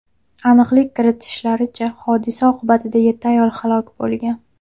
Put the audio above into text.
Aniqlik kiritishlaricha, hodisa oqibatida yetti ayol halok bo‘lgan.